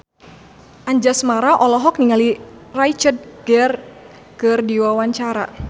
Anjasmara olohok ningali Richard Gere keur diwawancara